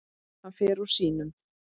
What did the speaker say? Hann fer úr sínum.